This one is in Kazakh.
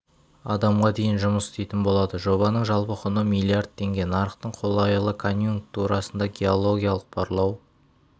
адамға дейін жұмыс істейтін болады жобаның жалпы құны миллиард теңге нарықтың қолайлы конъюнктурасында геологиялық барлау